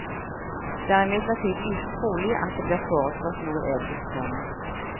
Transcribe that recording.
Det er imidlertid lite trolig at det blir foreslått noe eget fond.